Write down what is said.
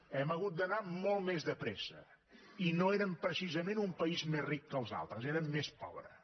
hem hagut d’anar molt més de pressa i no érem precisament un país més ric que els altres érem més pobres